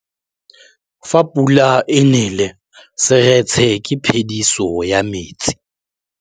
Fa pula e nelê serêtsê ke phêdisô ya metsi.